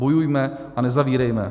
Bojujme a nezavírejme.